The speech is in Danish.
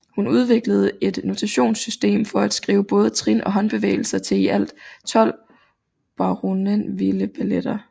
Hun udviklede et notationssystem for at skrive både trin og håndbevægelser til i alt 12 Bournonvilleballetter